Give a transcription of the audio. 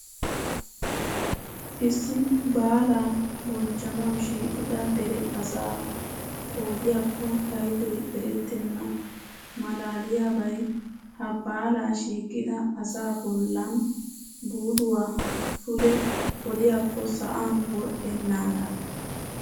Issi baalaa banchchanawu shiiqida dere asaa qoodiyaakko paydoy erettenna. Malaaliyaabay ha baalaa shiiqida asaa bollan buluwaa pude oliyaakko sa'an wodhdhennaga.